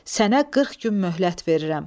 Sənə 40 gün möhlət verirəm.